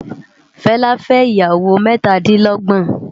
Fela fè iyàwó mètádilògbòn